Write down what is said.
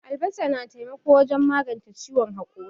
Albasa na taimako wajen maganche ciwon hakori.